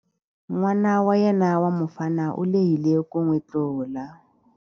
N'wana wa yena wa mufana u lehile ku n'wi tlula.